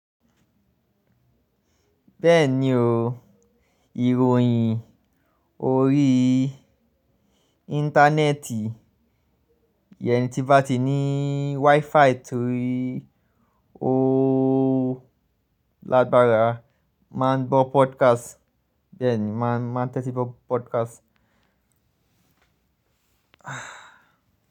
Bẹ́ẹ̀ni o, ìròyìn orí Íńtánẹ́ẹ̀tì, yẹn ni tí bá ti ní WiFi torí ó lágbára. Máa ń gbọ́ podcast, bẹ́ẹ̀ni máa ń tẹ́tí gbọ́ podcast.